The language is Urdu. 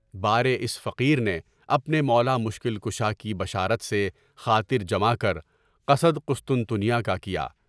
مارے اس فقیر نے اپنے مولا مشکل کشا کی بشارت سے خاطر جمع کر، قصدِ قسطنطنیہ کا کیا۔